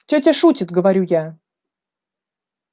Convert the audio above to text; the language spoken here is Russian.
тётя шутит говорю я